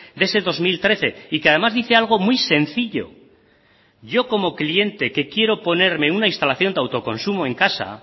de ese dos mil trece y que además dice algo muy sencillo yo como cliente que quiero ponerme una instalación de autoconsumo en casa